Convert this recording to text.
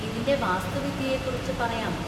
ഇതിന്‍റെ വാസ്തുവിദ്യയെക്കുറിച്ച് പറയാമോ?